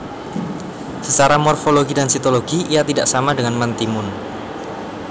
Secara morfologi dan sitologi ia tidak sama dengan mentimun